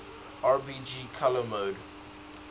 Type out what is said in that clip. rgb color model